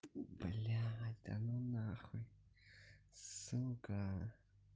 блять да ну на хуй сука